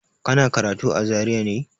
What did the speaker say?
Kana karatu a Zaria ne?